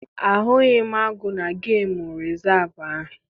Ahụghị m agụ na gemụ rịzaavụ ahụ.